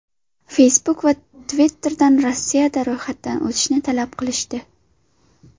Facebook va Twitter’dan Rossiyada ro‘yxatdan o‘tishni talab qilishdi.